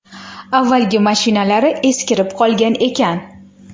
Avvalgi mashinalari eskirib qolgan ekan.